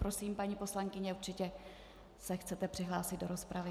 Prosím, paní poslankyně, určitě se chcete přihlásit do rozpravy.